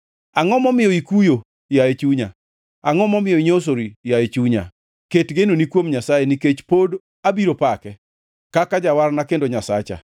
Angʼo momiyo ikuyo, yaye chunya? Angʼo momiyo inyosori yaye chunya? Ket genoni kuom Nyasaye, nikech pod abiro pake, kaka Jawarna kendo Nyasacha.